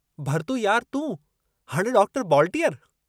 भरतू यार तूं... हाणे डॉक्टर बॉलटीअर।